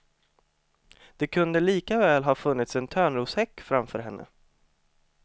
Det kunde lika väl ha funnits en törnroshäck framför henne.